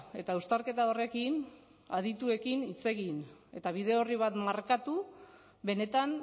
eta uztarketa horrekin adituekin hitz egin eta bide orri bat markatu benetan